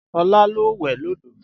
Ọlá lọ wẹ̀ lódò